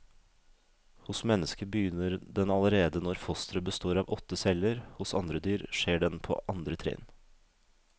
Hos mennesket begynner den allerede når fosteret består av åtte celler, hos andre dyr skjer den på andre trinn.